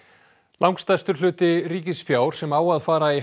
langstærstur hluti ríkisfjár sem á að fara í